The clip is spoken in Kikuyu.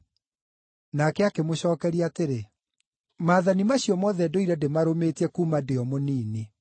Nake akĩmũcookeria atĩrĩ, “Maathani macio mothe ndũire ndĩmarũmĩtie kuuma ndĩ o mũnini.”